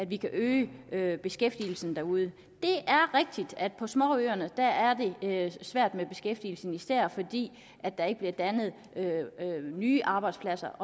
vi kan øge beskæftigelsen derude det er rigtigt at på småøerne er det svært med beskæftigelsen især fordi der ikke bliver dannet nye arbejdspladser